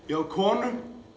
ég á konu